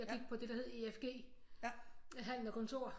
Jeg gik på det der hed EFG handel og kontor